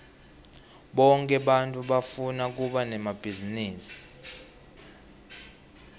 bonke bantfu bafuna kuba nemabhizinisi